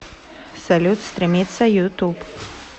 салют стремиться ютуб